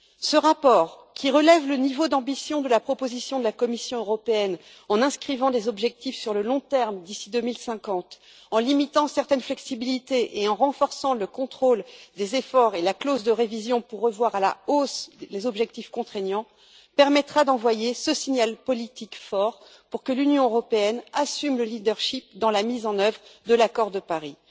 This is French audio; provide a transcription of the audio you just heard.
Ce rapport, qui relève le niveau d'ambition de la proposition de la Commission européenne en inscrivant des objectifs à long terme d'ici 2050, en limitant certaines flexibilités et en renforçant le contrôle des efforts et la clause de révision pour revoir à la hausse les objectifs contraignants, permettra d'envoyer ce signal politique fort pour que l'Union européenne assume le leadership dans la mise en œuvre de l'accord de Paris.